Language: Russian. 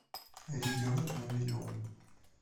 ребенок на миллион